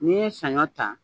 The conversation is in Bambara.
N'i ye saɲɔ ta